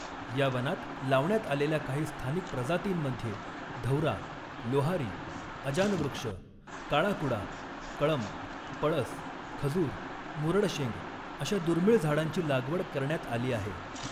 या वनात लावण्यात आलेल्या काही स्थानिक प्रजातींमध्ये, धौरा, लोहारी, अजानवृक्ष, काळा कुडा, कळम, पळस, खजूर, मुरडशेंग अशा दुर्मिळ झाडांची लागवड करण्यात आली आहे.